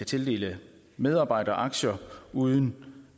tildele medarbejderaktier uden